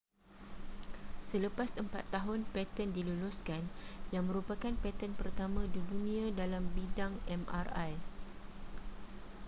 selepas empat tahun paten diluluskan yang merupakan paten pertama dunia dalam bidang mri